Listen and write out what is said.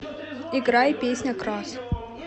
играй песня красс